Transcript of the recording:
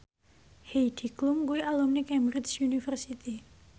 Heidi Klum kuwi alumni Cambridge University